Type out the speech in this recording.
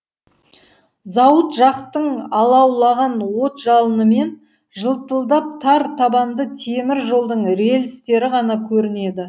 зауыт жақтың алаулаған от жалынымен жылтылдап тар табанды темір жолдың релістері ғана көрінеді